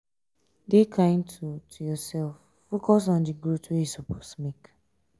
dey kind to to yourself focus on di growth wey you suppose make